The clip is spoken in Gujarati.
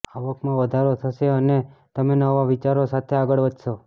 આવકમાં વધારો થશે અને તમે નવા વિચારો સાથે આગળ વધશો